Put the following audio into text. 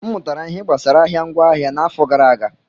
M mụtara ihe gbasara ahịa ngwaahịa n'afọ gara aga.